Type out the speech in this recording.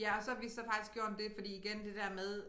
Ja og så har vi så faktisk gjort det fordi igen det der med